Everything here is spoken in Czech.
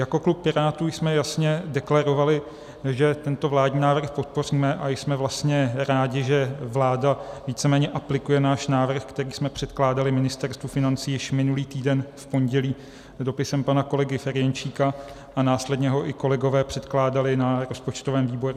Jako klub Pirátů jsme jasně deklarovali, že tento vládní návrh podpoříme, a jsme vlastně rádi, že vláda víceméně aplikuje náš návrh, který jsme předkládali Ministerstvu financí již minulý týden v pondělí dopisem pana kolegy Ferjenčíka, a následně ho i kolegové předkládali na rozpočtovém výboru.